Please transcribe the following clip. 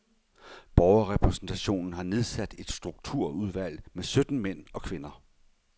Borgerrepræsentationen har nedsat et strukturudvalg med sytten mænd og kvinder.